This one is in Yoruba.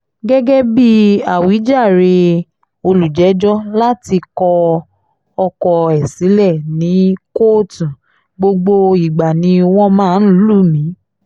gẹ́gẹ́ bíi àwíjàre olùjẹ́jọ́ láti kọ ọkọ ẹ̀ sílẹ̀ ní kóòtù gbogbo ìgbà ni wọ́n máa ń lù mí